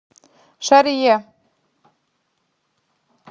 шарье